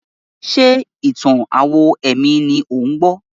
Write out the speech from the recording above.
Ṣé ìtàn-àwọn ẹ̀mí ni ò ń gbọ́?